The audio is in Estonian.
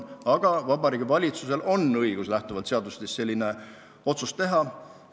Aga Vabariigi Valitsusel on lähtuvalt seadustest õigus selline otsus teha.